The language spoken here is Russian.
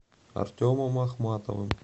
артемом ахматовым